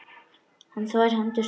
Hann þvær hendur sínar.